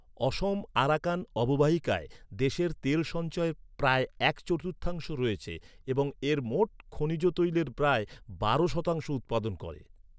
অসম Arakan অববাহিকায় দেশের তেল সঞ্চয়ের প্রায় এক চতুর্থাংশ রয়েছে এবং এর মোট খনিজ তৈলের প্রায় বারো শতাংশ উৎপাদন করে।